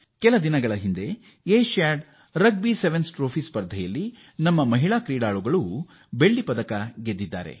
ಇತ್ತೀಚೆಗೆ Asian rugby sevens ಟ್ರೋಫಿಯಲ್ಲಿ ನಮ್ಮ ಮಹಿಳಾ ಆಟಗಾರರು ಬೆಳ್ಳಿಯ ಪದಕ ಗೆದ್ದಿದ್ದಾರೆ